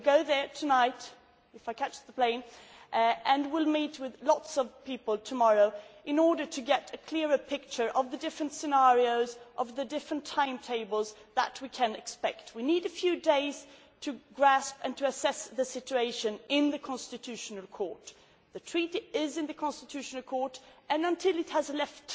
I will go there tonight, if I catch the plane, and will meet with lots of people tomorrow in order to get a clearer picture of the different scenarios, the different timetables that we can expect. We need a few days to grasp and to assess the situation in the Constitutional Court. The Treaty is in the Constitutional Court and, until it has